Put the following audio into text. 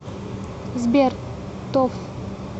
сбер тоф